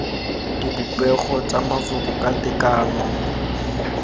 dipopego tsa mafoko ka tekano